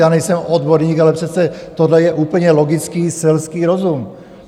Já nejsem odborník, ale přece tohle je úplně logický selský rozum!